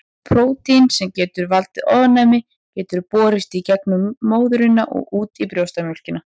Prótín sem getur valdið ofnæmi getur borist í gegnum móðurina og út í brjóstamjólkina.